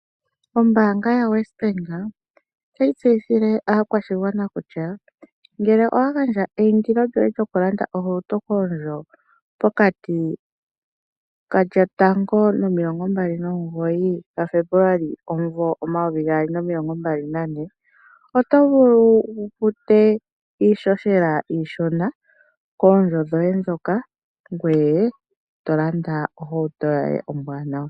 Omanga yoWesBank otayi tseyithile aakwashigwana kutya ngele owa handja eyindilo lyoye lyoku landa ohauto koondjo pokati ko 1 sigo 29 Febuluali 2024 oto vulu wu fute iihohela iishona koondjo dhoye dhoka ngoye tolanda ohauto yoye ombwanawa.